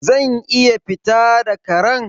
Zan iya fita da Karen?